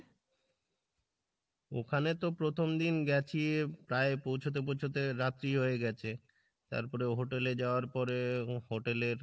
ওখানে তো প্রথম দিন গেছি প্রায় পৌঁছাতে পৌঁছাতে রাত্রি হয়ে গেছে, তারপরে hotel এ যাওয়ার পরে ho~ hotel এর